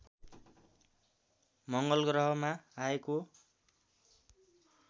मङ्गलग्रहमा आएको